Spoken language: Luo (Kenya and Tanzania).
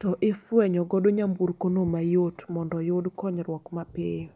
to ifwenyo godo nyamburkono mayot mondo oyud konyruok mapiyo